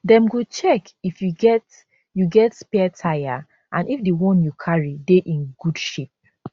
dem go check if you get you get spare tyre and if di one you carry dey in good shape